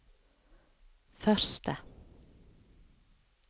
første